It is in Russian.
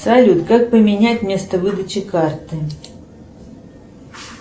салют как поменять место выдачи карты